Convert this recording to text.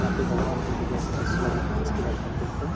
यहां पे भगवान बुद्ध जो है तपस्या अधिकांश किया करते थे।